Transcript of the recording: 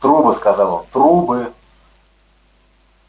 трубы сказал он трубы